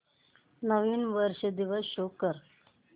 नवीन वर्ष दिवस शो कर